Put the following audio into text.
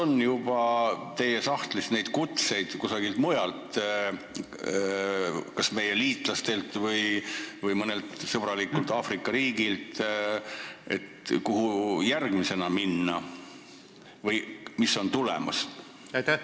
Ning kas teie sahtlis on kutseid ka kusagilt mujalt, kas meie liitlastelt või mõnelt sõbralikult Aafrika riigilt, kuhu tuleks järgmisena minna?